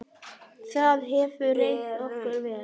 Það hefur reynst okkur vel.